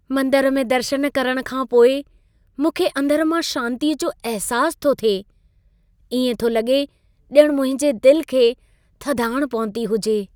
मंदर में दर्शन करण खां पोइ मूंखे अंदर मां शांतीअ जो अहिसास थो थिए। इएं थो लॻे ॼण मुंहिंजे दिल खे थधाण पहुती हुजे।